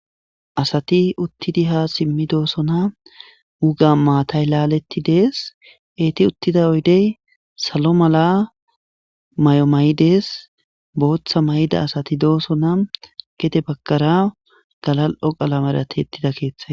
Asati uthidi ha simidosona ugan maatay laaletides eeti uthida oyde salo mala mayo mayides bootha mayida asati doosona gede bagara galal'o qalamera teyetida keethay de'es.